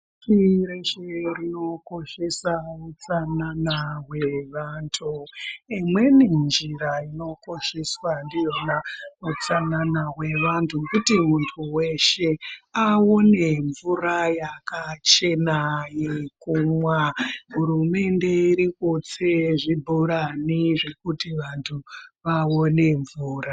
Pashi reshe rinokoshesa utsanana hwevantu. Imweni njira inokosheswa ndiyona utsanana hwevantu ,kuti muntu weshe ,aone mvura yakachena yekumwa. Hurumende iri kutse zvibhorani zvekuti vantu vaone mvura.